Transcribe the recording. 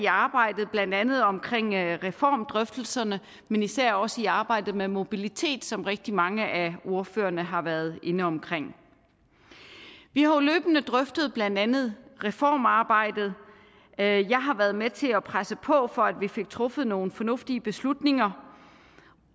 arbejdet blandt andet omkring reformdrøftelserne men især også i arbejdet med mobilitet som rigtig mange af ordførerne har været inde omkring vi har jo løbende drøftet blandt andet reformarbejdet jeg har været med til at presse på for at vi fik truffet nogle fornuftige beslutninger